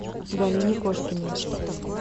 галине кошкиной